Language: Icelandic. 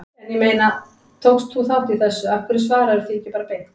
En ég meina, tókst þú þátt í þessu, af hverju svararðu því ekki bara beint?